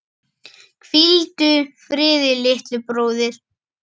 Hvíldu friði, litli bróðir.